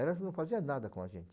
Elas não fazia nada com a gente.